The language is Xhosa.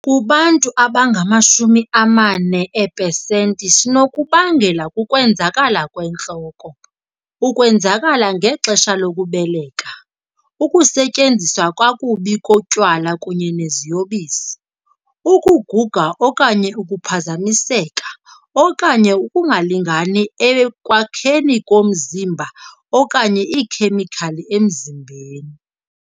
Kubantu abangama-40 eepesenti, sinokubangelwa kukwenzakala kwentloko, ukwenzakala ngexesha lokubeleka, ukusetyenziswa kakubi kotywala kunye neziyobisi, ukuguga okanye ukuphazamiseka okanye ukungalingani ekwakhekeni komzimba okanye iikhemikhali emzimbeni.